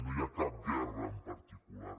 no hi ha cap guerra en particular